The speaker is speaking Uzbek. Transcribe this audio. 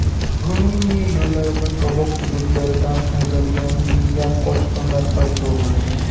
Ruminiya yo‘llarida sobiq hududlaridan haydalgan minglab qochqinlar paydo bo‘ladi.